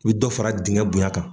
I bɛ dɔ fara dingɛ bonɲa kan.